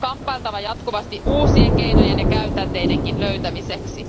On kamppailtava jatkuvasti uusien keinojen ja käytänteidenkin löytämiseksi.